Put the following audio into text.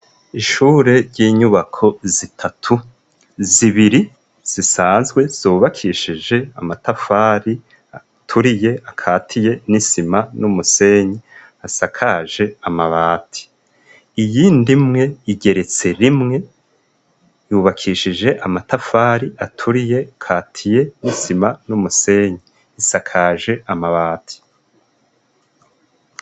Ishure ry'inyubako zitatu zibiri zisanzwe zubakishije amatafari aturiye akatiye n'isima n'umusenyi asakaje amabati iyindi imwe igeretse rimwe yubakishije amatafari aturiye akatiye n'isima n'umusenyi isakaje amabati.